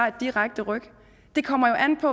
et direkte ryk det kommer jo an på